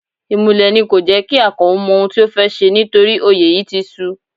Imúlẹ̀ ni kò jẹ́ kí Akano mọ ohun tí ó fẹ́ ṣe nítorí òye yìí ti su.